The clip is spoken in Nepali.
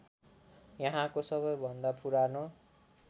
यहाँको सबैभन्दा पुरानो